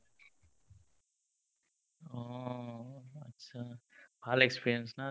অ, achcha ভাল experience না